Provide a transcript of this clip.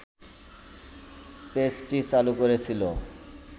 পেজটি চালু করেছিল